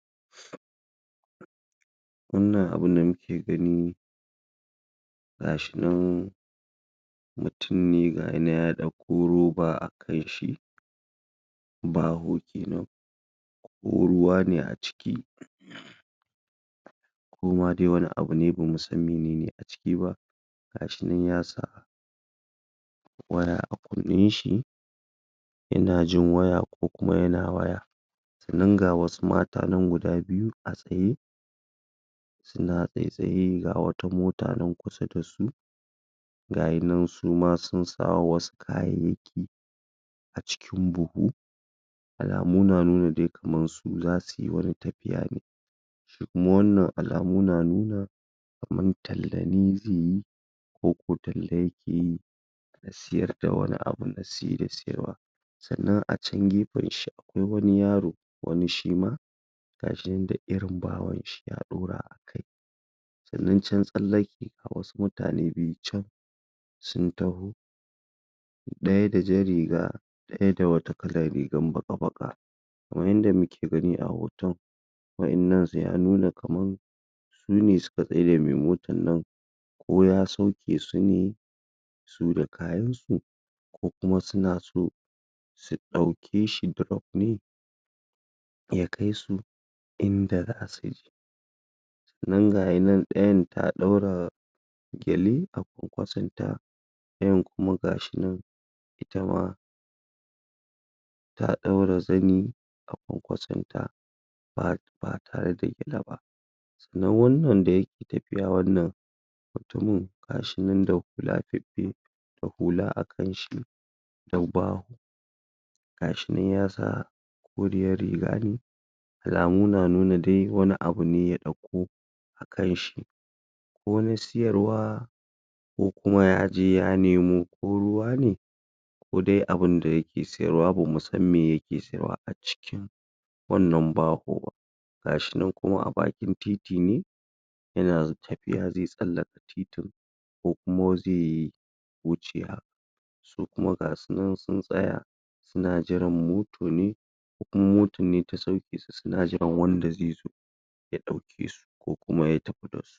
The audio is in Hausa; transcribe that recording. wannan abun da muke gani gashi nan mutum ne gayinan ya dauko roba akanshi baho kenan ruwa ne a ciki koma de wani abune bamu san menene (iba) gashi nan yasa wani abu a kunnen shi yana jin waya kokuma yana waya nan ga wasu mata nan guda biyu a tsaye suna tsay tsaye ga wata mota nan kusa da su gayi nan suma sun sa wayansu kayayyaki cikin buhu alamu na nuna de kaman su zasuyi tafiya ne kuma wannan alamu na nuna kaman talla ne zeyi koko talla yakeyi sayarda wani abu da saye da sayarwa sa'anan a chan gefenshi wani yaro wani shima gashinan da irin bahon shi ya dora akai sa'anan chna tsallake ga wasu mutane biyu chan sun taho daya da jan riga daya da wata kalan rigan baka baka kaman yanda muke gani a hoton wayannan se ya nuna kaman sune suka tsare mai motan nan ko ya sauke sune su da kayansu ko kuma suna so su daukeshi drop ne ya kai su inda za'asuje nan gayi nan dayan ta daura gyale a konkwason ta dayan kuma gashi nan itama ta daura zani a konkwason ta ba ba tarda illa ba nan wannan dayake tafiya wannan mutumin gashinan da hula bibbiyu da hula akanshi gashi nan yasa koriyar riga ne alamu na nuna de wani abu ne ya dauko akanshi wani siyarwa kokuma ya ajiye ya nemo ko ruwa ne kode abinda yake sayarwa ne bamu san me yake sayarwa aciki wannan baho gashi nan kuma abakin titi ne yana z tafiya ze sallaka titin ko kuma ze wuce ha sukuma gasunan sun tsaya suna jiran moto ne ko kuma moton ne ta saukesu suna jiran wanda zezo ya daukeso kokuma ya tafi dasu